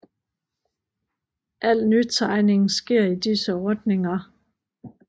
Al nytegning sker i disse ordninger